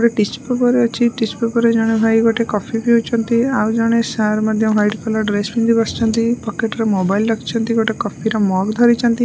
ଗୋଟେ tissue paper ଅଛି tissue paper ଜଣେ ଭାଇ ଗୋଟେ କଫି ପିଉଛନ୍ତି ଆଉ ଜଣେ ସାର୍ ମଧ୍ୟ ୱାଇଟ୍ କଲର୍ ଡ୍ରେସ୍ ପିନ୍ଧିକି ବସିଛନ୍ତି ପକେଟ୍ ରେ ମୋବାଇଲ ରଖିଛନ୍ତି ଗୋଟେ କଫି ର ମଗ୍ ଧରିଛନ୍ତି।